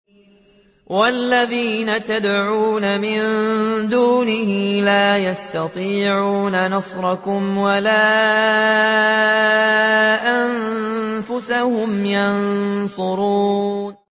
وَالَّذِينَ تَدْعُونَ مِن دُونِهِ لَا يَسْتَطِيعُونَ نَصْرَكُمْ وَلَا أَنفُسَهُمْ يَنصُرُونَ